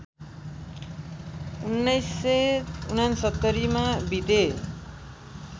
१९६९ मा बिते